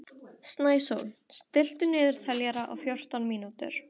Snæsól, stilltu niðurteljara á fjórtán mínútur.